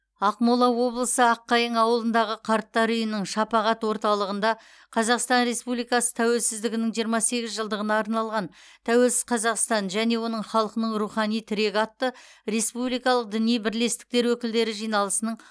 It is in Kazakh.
ақмола облысы аққайың ауылындағы қарттар үйінің шапағат орталығында қазақстан республикасы тәуелсіздігінің жиырма сегіз жылдығына арналған тәуелсіз қазақстан және оның халқының рухани тірегі атты республикалық діни бірлестіктер өкілдері жиналысының